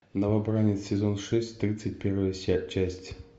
новобранец сезон шесть тридцать первая часть